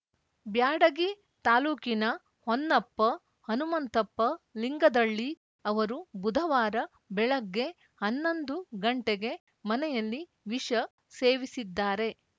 ಬ್ಯಾಡಗಿ ತಾಲೂಕಿನ ಹೊನ್ನಪ್ಪ ಹನುಮಂತಪ್ಪ ಲಿಂಗದಳ್ಳಿ ಅವರು ಬುಧವಾರ ಬೆಳಗ್ಗೆ ಹನ್ನೊಂದು ಗಂಟೆಗೆ ಮನೆಯಲ್ಲಿ ವಿಷ ಸೇವಿಸಿದ್ದಾರೆ